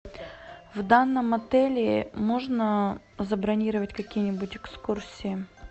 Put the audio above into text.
в данном отеле можно забронировать какие нибудь экскурсии